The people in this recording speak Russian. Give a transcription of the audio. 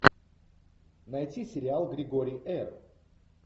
найти сериал григорий р